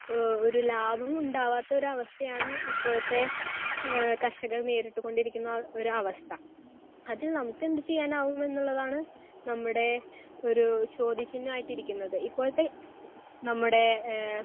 Speaker 1 ആഹ് ഒരു ലാഭം ഉണ്ടാവാത്ത ഒരവസ്ഥയാണ് ഇപ്പോഴത്തെ ആഹ് കർഷകർ നേരിട്ട് കൊണ്ടിരിക്കുന്ന ഒരവസ്ഥ. അതിൽ നമുക്ക് എന്ത് ചെയ്യാനാവും എന്നുള്ളതാണ് നമ്മുടെ ഒരു ചോദ്യചിഹ്നമായിട്ട് ഇരിക്കുന്നത്. ഇപ്പോഴത്തെ നമ്മുടെ ഏഹ്